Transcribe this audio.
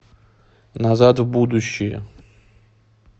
назад в будущее